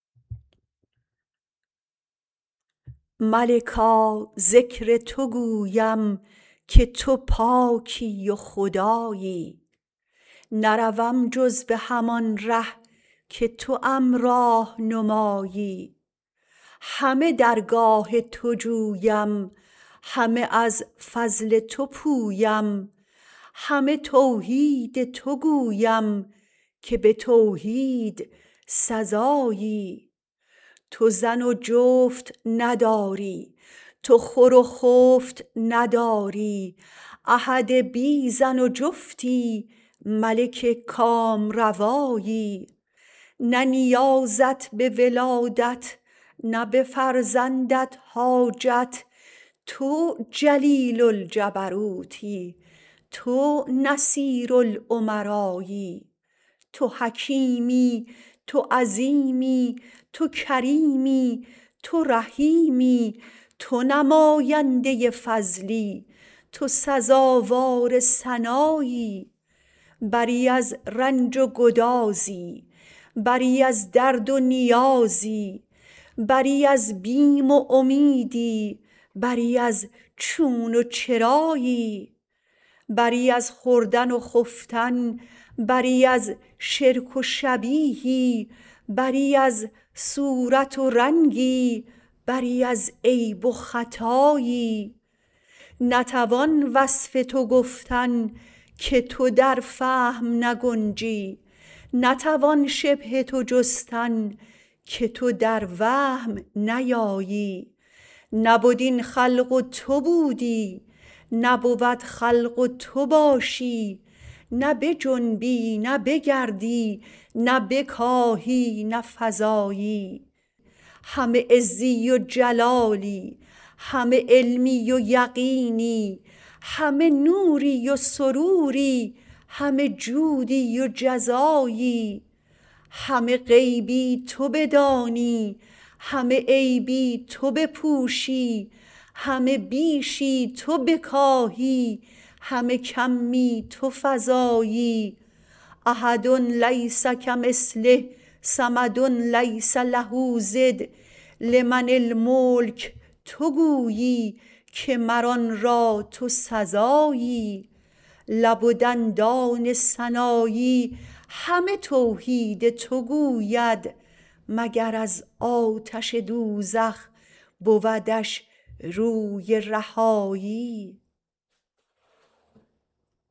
ملکا ذکر تو گویم که تو پاکی و خدایی نروم جز به همان ره که توام راه نمایی همه درگاه تو جویم همه از فضل تو پویم همه توحید تو گویم که به توحید سزایی تو زن و جفت نداری تو خور و خفت نداری احد بی زن و جفتی ملک کامروایی نه نیازت به ولادت نه به فرزندت حاجت تو جلیل الجبروتی تو نصیر الامرایی تو حکیمی تو عظیمی تو کریمی تو رحیمی تو نماینده فضلی تو سزاوار ثنایی بری از رنج و گدازی بری از درد و نیازی بری از بیم و امیدی بری از چون و چرایی بری از خوردن و خفتن بری از شرک و شبیهی بری از صورت و رنگی بری از عیب و خطایی نتوان وصف تو گفتن که تو در فهم نگنجی نتوان شبه تو گفتن که تو در وهم نیایی نبد این خلق و تو بودی نبود خلق و تو باشی نه بجنبی نه بگردی نه بکاهی نه فزایی همه عزی و جلالی همه علمی و یقینی همه نوری و سروری همه جودی و جزایی همه غیبی تو بدانی همه عیبی تو بپوشی همه بیشی تو بکاهی همه کمی تو فزایی احد لیس کمثله صمد لیس له ضد لمن الملک تو گویی که مر آن را تو سزایی لب و دندان سنایی همه توحید تو گوید مگر از آتش دوزخ بودش روی رهایی